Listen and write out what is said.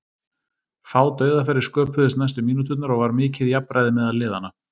Fá dauðafæri sköpuðust næstu mínúturnar og var mikið jafnræði meðal liðanna.